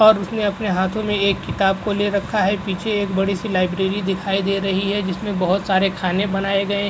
और उसने अपने हाथों मे एक किताब को ले रखा है पीछे एक बड़ी से लियब्ररी दिखाई दे रही है जिसमे बोहोत सारे खाने बनाए गए --